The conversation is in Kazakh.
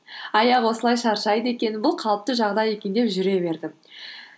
аяқ осылай шаршайды екен бұл қалыпты жағдай екен деп жүре бердім